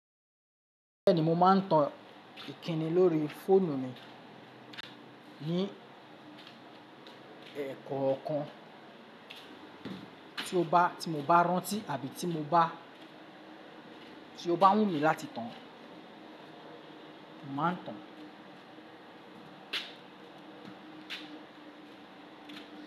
Bẹ́ẹ̀ni, mo máa ń tan ìkíni lórí fóònù ni ní ẹ́ẹ̀kọ̀kan tí o bá, tí mo bá rántí àbí tí mo bá, tí o bá wù mí láti tan, mo màá tan.